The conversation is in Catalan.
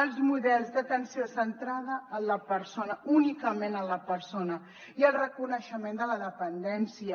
els models d’atenció centrada en la persona únicament en la persona i el reconeixement de la dependència